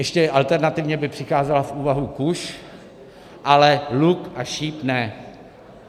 Ještě alternativně by přicházela v úvahu kuše, ale luk a šíp ne.